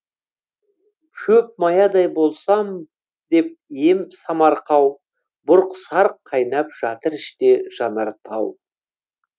шөп маядай болсам деп ем самарқау бұрқ сарқ қайнап жатыр іште жанар тау